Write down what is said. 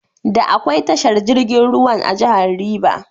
Da akwai tashar jirgin ruwan a jahar River.